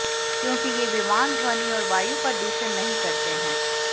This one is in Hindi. क्योंकि ये विमान ध्वनि और वायु प्रदूषण नहीं करते हैं